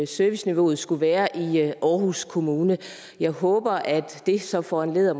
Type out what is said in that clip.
serviceniveauet skulle være i aarhus kommune jeg håber at det så foranlediger